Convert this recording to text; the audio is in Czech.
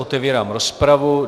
Otevírám rozpravu.